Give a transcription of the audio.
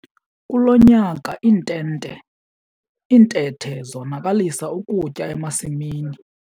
Kulo nyaka iintente, iintethe zonakalisa ukutya emasimini.